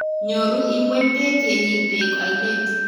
Nyoru ingweny beek Yenyei beek oine.